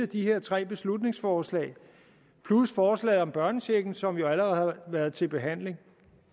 de her tre beslutningsforslag plus forslaget om børnechecken som jo allerede har været til behandling